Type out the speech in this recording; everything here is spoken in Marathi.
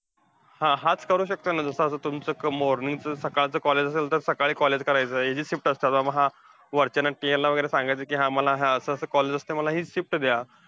हा, हाच करू शकतोय ना. जसं आता तुमचं morning चं, सकाळचं college असतं, तर सकाळी करायचं. हे जे shift असतात हा वरच्यांना KL ला वगैरे सांगायचं, कि मला असं असं college असतं. मला हि shift द्या.